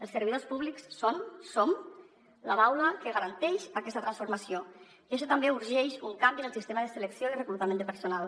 els servidors públics són som la baula que garanteix aquesta transformació i això també urgeix un canvi en el sistema de selecció i reclutament de personal